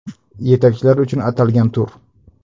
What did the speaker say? Yetakchilar uchun atalgan tur.